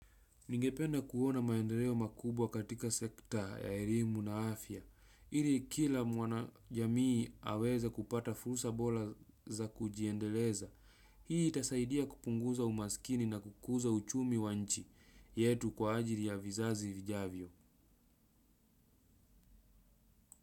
Ningependa kuona maendeleo makubwa katika sekta ya erimu na afya, ili kila mwana jamii aweza kupata fursa bola za kujiendeleza. Hii itasaidia kupunguza umaskini na kukuza uchumi wa nchi yetu kwa ajili ya vizazi vijavyo.